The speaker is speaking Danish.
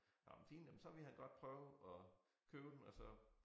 Nåh men fint jamen så ville han godt prøve at købe den og så